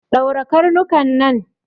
Ɗaure karnuka nan!